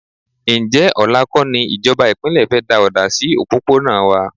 Ǹjẹ́ ọ̀la kọ́ ní ìjọba ìpínlẹ̀ fẹ́ da ọ̀dà sí òpópónà wà?